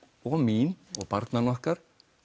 og mín og barnanna okkar